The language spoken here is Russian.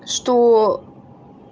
что